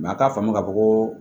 a t'a faamu ka fɔ ko